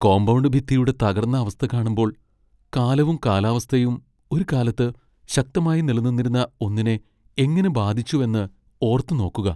Compound ഭിത്തിയുടെ തകർന്ന അവസ്ഥ കാണുമ്പോൾ, കാലവും കാലാവസ്ഥയും ഒരു കാലത്ത് ശക്തമായി നിലനിന്നിരുന്ന ഒന്നിനെ എങ്ങനെ ബാധിച്ചുവെന്ന് ഓർത്തു നോക്കുക .